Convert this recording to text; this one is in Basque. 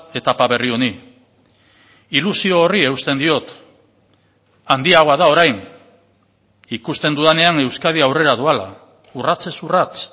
etapa berri honi ilusio horri eusten diot handiagoa da orain ikusten dudanean euskadi aurrera doala urratsez urrats